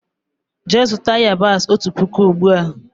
Jee zuta yabasi ọtu pụkụ ugbua!!!